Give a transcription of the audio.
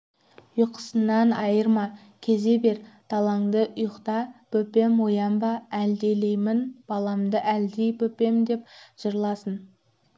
ұйқысынан айырма кезе бер даланды ұйықта бөпем оянба әлдилеймін баламды әлди бөпем деп жырласын